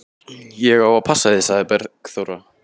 Ég á að passa þig, sagði Bergþóra.